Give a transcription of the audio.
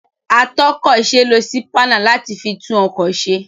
Atọ́kọ̀se lo sípánà láti fi tún ọkọ̀ se.